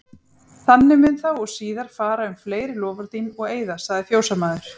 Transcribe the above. Þannig mun þá og síðar fara um fleiri loforð þín og eiða, sagði fjósamaður.